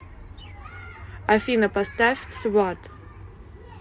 афина поставь сват